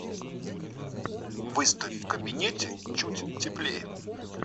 выставь в кабинете чуть теплее